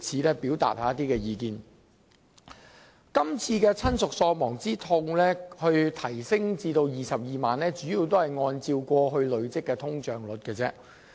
當局這次將親屬喪亡之痛賠償款額提高至 220,000 元，其增幅主要是按累積通脹率計算。